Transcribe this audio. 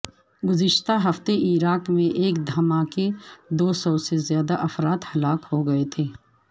گزشتہ ہفتے عراق میں ایک دھماکے دو سو سے زیادہ افراد ہلاک ہو گئے تھے